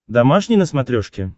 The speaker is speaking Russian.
домашний на смотрешке